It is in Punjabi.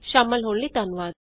ਸ਼ਾਮਲ ਹੋਣ ਲਈ ਧੰਨਵਾਦ